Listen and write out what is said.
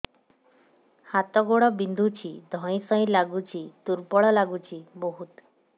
ହାତ ଗୋଡ ବିନ୍ଧୁଛି ଧଇଁସଇଁ ଲାଗୁଚି ଦୁର୍ବଳ ଲାଗୁଚି ବହୁତ